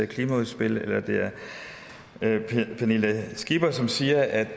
klimaudspil eller det er pernille skipper som siger at